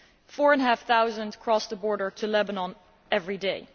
Four and a half thousand cross the border to Lebanon every day.